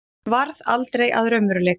varð aldrei að raunveruleika.